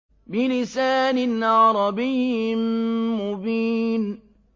بِلِسَانٍ عَرَبِيٍّ مُّبِينٍ